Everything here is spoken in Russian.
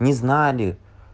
не знали